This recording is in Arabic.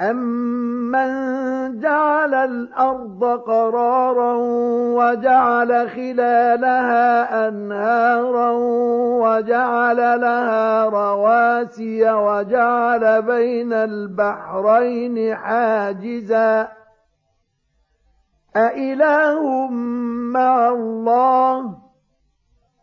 أَمَّن جَعَلَ الْأَرْضَ قَرَارًا وَجَعَلَ خِلَالَهَا أَنْهَارًا وَجَعَلَ لَهَا رَوَاسِيَ وَجَعَلَ بَيْنَ الْبَحْرَيْنِ حَاجِزًا ۗ أَإِلَٰهٌ مَّعَ اللَّهِ ۚ